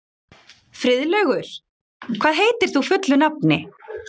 Friðlaugur, hvað heitir þú fullu nafni?